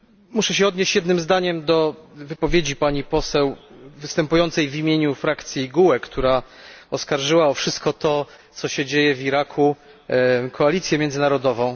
Muszę się odnieść jednym zdaniem do wypowiedzi pani poseł występującej w imieniu frakcji GUE, która oskarżyła o wszystko to, co się dzieje w Iraku koalicję międzynarodową.